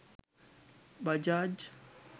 bajaj